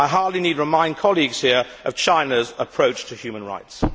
I hardly need remind colleagues here of China's approach to human rights.